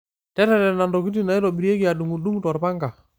Teretena ntokitin naitobirieki adung'u dung' torpanga.